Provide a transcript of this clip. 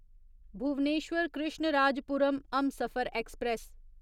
Bhubaneswar Krishnarajapuram Humsafar express